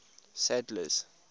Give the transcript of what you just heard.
sadler's